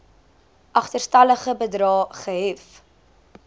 agterstallige bedrae gehef